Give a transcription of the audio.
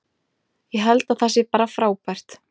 Ég held að það sé bara frábært.